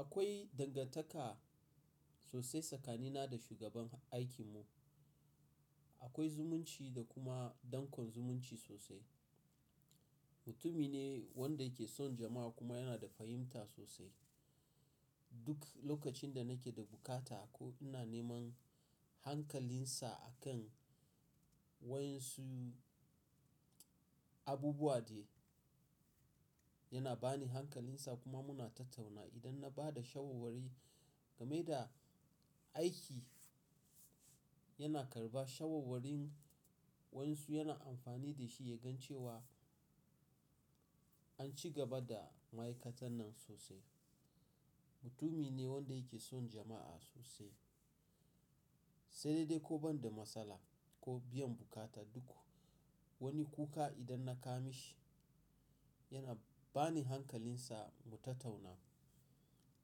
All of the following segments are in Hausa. Akwai dangantaka sosai tsakanina da shugaban aikinmu. Akwai zumunci da kuma dankon zumunci sosai. Mutumi ne wanda yake son jama'a kuma yana da fahimta sosai. Duk lokacin da nake da buƙata ko ina neman hankalinsa a kan waƴan su abubuwa dai, yana bani hankalinsa kuma muna tattauna. Idan na ba da shawarwari game da aiki, yana ƙarɓa shawarwarin wayan su, yana amfani da shi ya gan cewa an cigaba da ma'aikatannan sosai. Mutumi ne wanda yake son jama'a sosai. Sai dai dai ko banda matsala ko biyan bukata duk wani kuka idan na kaima shi, yana bani hankalinsa mu tattauna.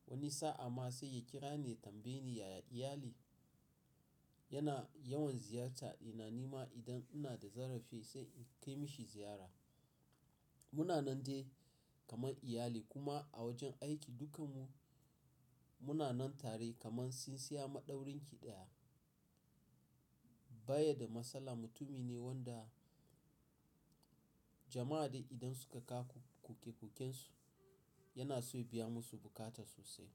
Wani sa'a ma sai ya kira ni ya tambaye ni yaya iyali. Yana yawan ziyarta. Ina ni ma idan ina da zarafi sai in kai mishi ziyara. Muna nan dai kamar iyali kuma a wajen aiki dukanmu muna nan tare kamar tsintsiya maɗaurin ki ɗaya. Baye da matsala mutumi ne wanda jama'a dai idan suka kawo koke-koken su, yana so ya biya musu bukata sosai.